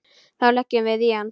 Þá leggjum við í hann.